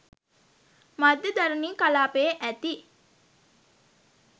මධ්‍යධරණී කලාපයේ ඇති